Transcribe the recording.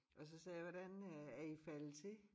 Og så sagde jeg hvordan øh er i faldet til